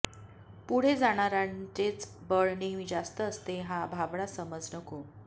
पुढे जाणारांचेच बळ नेहमी जास्त असते हा भाबडा समज नको